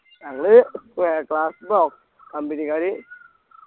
ഞങ്ങള് ഏർ class താ company ക്കാര്